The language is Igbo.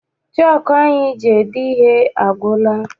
Chọku anyị ji ede ihe agwụla.